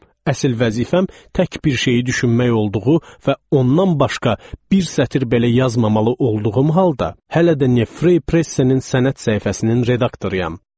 Əsil vəzifəm tək bir şeyi düşünmək olduğu və ondan başqa bir sətir belə yazmamalı olduğum halda, hələ də Neue Freie Pressenin sənət səhifəsinin redaktoruyam.